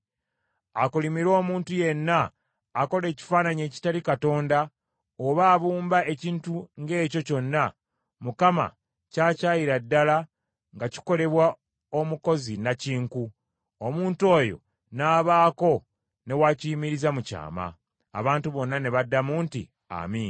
“Akolimirwe omuntu yenna akola ekifaananyi ekitali Katonda oba abumba ekintu ng’ekyo kyonna Mukama ky’akyayira ddala nga kikolebwa omukozi nnakinku, omuntu oyo n’abaako ne wakiyimiriza mu kyama.” Abantu bonna ne baddamu nti, “Amiina.”